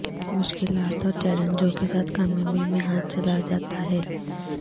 مشکلات اور چیلنجوں کے ساتھ کامیابی میں ہاتھ چلا جاتا ہے